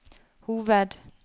hoved